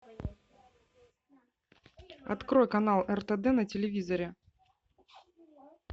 открой канал ртд на телевизоре